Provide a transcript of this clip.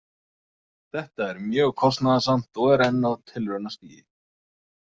Þetta er mjög kostnaðarsamt og er enn á tilraunastigi.